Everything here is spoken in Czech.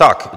Tak.